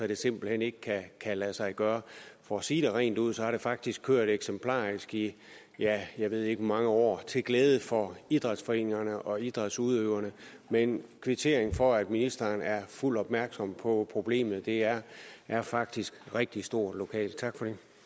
det simpelt hen ikke kan lade sig gøre for at sige det rent ud har det faktisk kørt eksemplarisk i ja jeg ved ikke hvor mange år til glæde for idrætsforeningerne og idrætsudøverne men en kvittering for at ministeren er fuldt opmærksom på problemet det er er faktisk rigtig stort lokalt tak